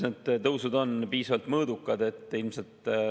Need tõusud on piisavalt mõõdukad.